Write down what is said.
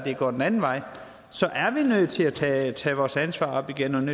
går den anden vej så er vi nødt til at tage tage vores ansvar op igen